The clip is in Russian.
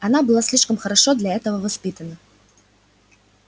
она была слишком хорошо для этого воспитана